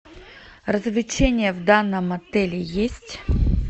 развлечения в данном отеле есть